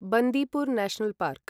Bandipur national park